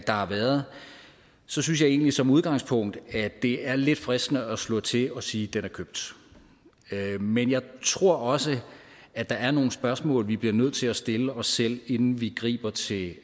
har været synes jeg egentlig som udgangspunkt at det er lidt fristende at slå til og sige den er købt men jeg tror også at der er nogle spørgsmål vi bliver nødt til at stille os selv inden vi griber til